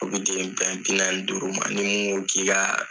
Olu dili dan ye bi naani ni duuru ma ni mun ko k'i ka